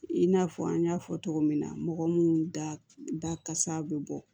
I n'a fɔ an y'a fɔ cogo min na mɔgɔ munnu da kasa bɛ bɔ